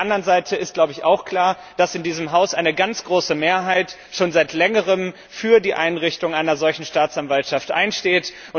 Auf der anderen Seite ist auch klar, dass in diesem Haus eine ganz große Mehrheit schon seit Längerem für die Einrichtung einer solchen Staatsanwaltschaft einsteht.